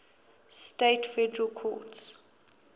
states federal courts